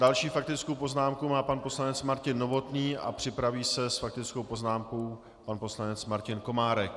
Další faktickou poznámku má pan poslanec Martin Novotný a připraví se s faktickou poznámkou pan poslanec Martin Komárek.